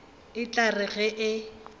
e tla re ge e